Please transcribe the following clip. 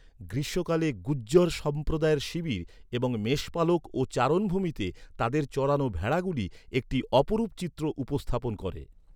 গ্রীষ্মকালে গুজ্জর সম্প্রদায়ের শিবির এবং মেষপালক ও চারণভূমিতে তাদের চরানো ভেড়াগুলি একটি অপরূপ চিত্র উপস্থাপন করে।